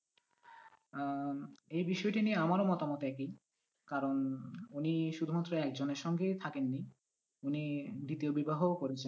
আহ এই বিষয়টি নিয়ে আমারও মতামত একই কারণ উনি শুধুমাত্র একজনের সঙ্গে থাকেন নি উনি দ্বিতীয় বিবাহও করেছেন।